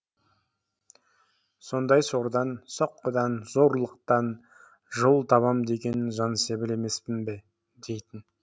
сондай сордан соққыдан зорлықтан жол табам деген жансебіл емеспін бе дейтін